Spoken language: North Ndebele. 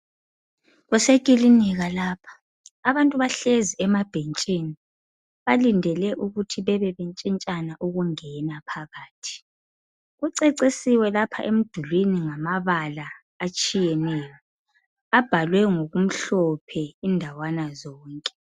Kusekilinika lapha abantu bahlezi emabhentshini balindele ukuthi bebe betshintshana ukungena phakathi, kucecisiwe lapha emdulwini ngamabala atshiyeneyo abhalwe ngokumhlophe indawana zonke.